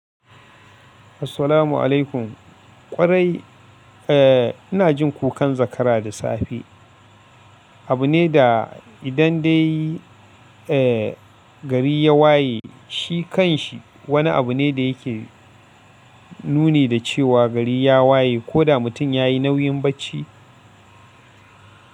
Assalamu alaikum. Ƙwarai, eh ina jin kukan zakara da safe. Abu ne da idan dai, eh gari ya waye, shi kanshi wani abu ne da yake nuni da cewa gari ya waye ko da mutum ya yi nauyin bacci,